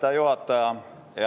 Aitäh, juhataja!